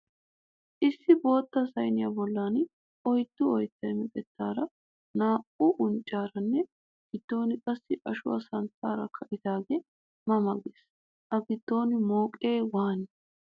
Issi bootta sayiniya bollan oyiddu oyittay meqettaara, naa"u unccaaranne giddon qassi Ashuwa santtaara kattidoogee ma ma ges. A giddon mooqee waani?